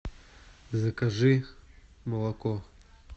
закажи молоко